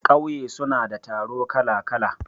ƙauye suna da taro kala-kala